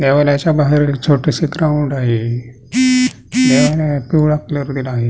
देवालयाच्या बाहेर एक छोटसे ग्राउंड आहे देवालयाला पिवळा कलर दिला आहे.